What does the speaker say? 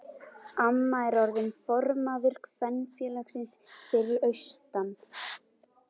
Amma er orðin formaður kvenfélagsins fyrir austan.